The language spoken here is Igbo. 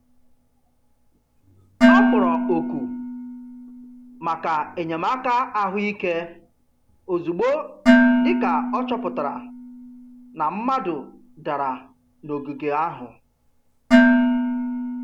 Ọ kpọrọ oku maka enyemaka ahụike ozugbo dị ka ọ chọpụtara na mmadụ dara n'ogige ahụ.